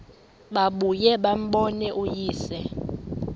babuye bambone uyise